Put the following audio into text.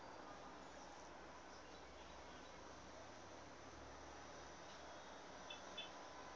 pas reg verstaan